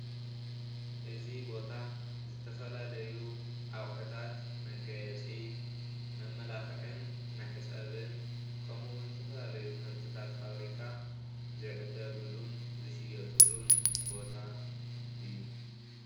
እዚ ቦታ ዝተፈላለዩ ኣቑሕታት መጋየፂ፣ መመላክዕን መሕፀብን ከምኡ እውን ዝተፈላለዩ ምህርትታት ፋብሪካ ዝዕደግሉን ዝሽየጥሉን ቦታ እዩ።